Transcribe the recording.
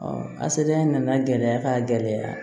a sediya in nana gɛlɛya ka gɛlɛya